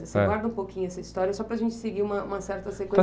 Certo. Você guarda um pouquinho essa história só para gente seguir uma uma certa